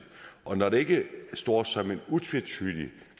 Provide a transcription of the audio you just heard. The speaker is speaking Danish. og når det ikke står som et utvetydigt